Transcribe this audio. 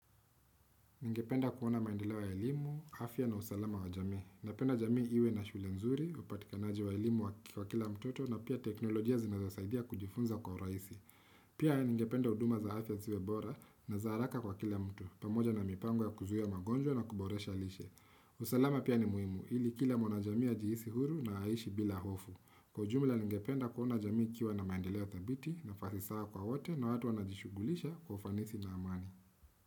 Ningependa kuona maendeleo ilimu, afya na usalama wa jami. Napenda jamii iwe na shule nzuri, upatikanaji wa elimu wa kila mtoto na pia teknolojia zinazosaidia kujifunza kwa raisi. Pia ningependa huduma za afya ziwe bora na za haraka kwa kila mtu, pamoja na mipango ya kuzuhia magonjwa na kuboresha lishe. Usalama pia ni muhimu, ili kila mwana jamii ajihisi huru na aishi bila hofu. Kwa ujumla ningependa kuona jamii kiwa na maendeleo thabiti na farisaa kwa wote na watu wanajishugulisha kwa ufanisi na amani.